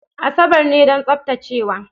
Asabar ne don tsaftacewa.